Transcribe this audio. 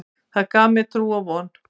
Það gaf mér trú og von.